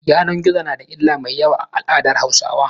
Yanan gizo na da illar mai yawa ga al'aadar Hausawa.